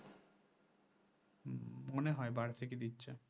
হম মনে হয় বার্ষিক ই দিচ্ছে